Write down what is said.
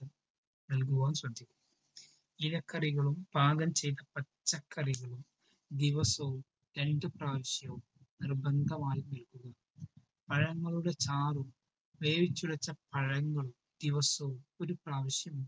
ഇലക്കറികളും പാകം ചെയ്ത പച്ചക്കറികളും ദിവസവും രണ്ടു പ്രാവശ്യവും നിർബന്ധമായി നൽകണം. പഴങ്ങളുടെ ചാറും വേവിച്ചുടച്ച പഴങ്ങളും ദിവസവും ഒരു പ്രാവശ്യം